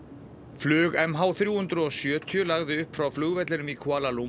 flug m h þrjú hundruð og sjötíu lagði upp frá flugvellinum í Kuala